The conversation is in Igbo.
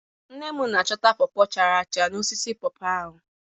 Nne m na-ahọta pọọ pọọ chara acha n'osisi pọọ pọọ ahụ.